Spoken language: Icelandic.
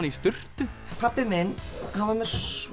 í sturtu pabbi minn var með